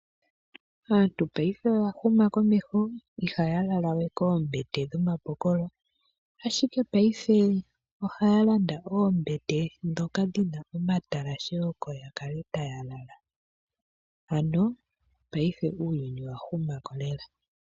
Aantu paife oya huma komeho ihaya lala we koombete dhomapokolo, ashike paife ohaya landa oombete ndhoka dhina omatalashe, oko ya kale taya lala, ano paife uuyuni owa huma ko lela.